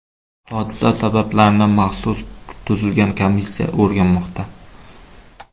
Hodisa sabablarini maxsus tuzilgan komissiya o‘rganmoqda.